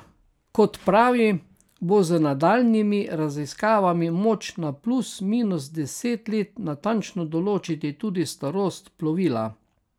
Kot pravi, bo z nadaljnjimi raziskavami moč na plus minus deset let natančno določiti tudi starost plovila.